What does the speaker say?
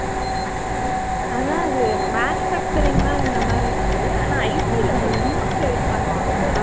அதான் அது manufacturing தான் இந்த மாதிரி இருக்கு ஆனா IT ல ரொம்ப late பண்ணுவாங்க போல